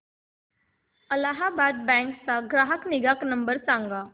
Allahabad bank चा ग्राहक निगा नंबर सांगा